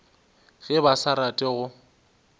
ge ba sa rate go